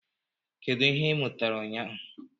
Kedu ihe ị mụtara ụnyaahụ?